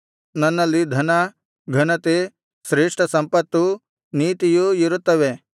ನನ್ನಲ್ಲಿ ಧನ ಘನತೆ ಶ್ರೇಷ್ಠಸಂಪತ್ತೂ ನೀತಿಯೂ ಇರುತ್ತವೆ